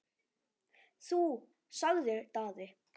Þú, sagði Daði.